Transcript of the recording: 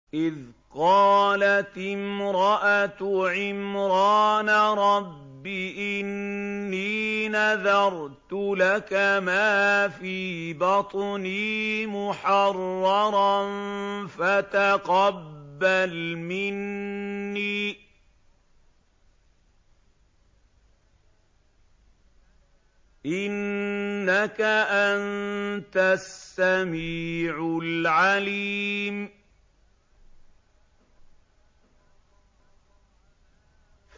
إِذْ قَالَتِ امْرَأَتُ عِمْرَانَ رَبِّ إِنِّي نَذَرْتُ لَكَ مَا فِي بَطْنِي مُحَرَّرًا فَتَقَبَّلْ مِنِّي ۖ إِنَّكَ أَنتَ السَّمِيعُ الْعَلِيمُ